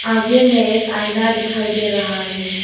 आगे में एक आईना दिखाई दे रहा है।